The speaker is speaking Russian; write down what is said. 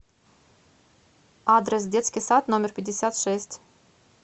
адрес детский сад номер пятьдесят шесть